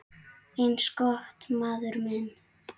Eins gott, maður minn